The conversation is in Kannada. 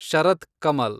ಶರತ್ ಕಮಲ್